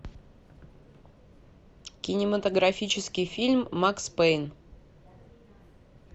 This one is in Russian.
кинематографический фильм макс пэйн